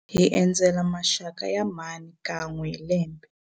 Hi endzela maxaka ya mhani kan'we hi lembe.